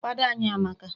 Fada anyị amaka.